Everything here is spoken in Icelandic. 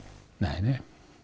nei